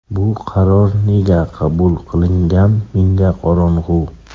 Bu qaror nega qabul qilingan menga qorong‘u.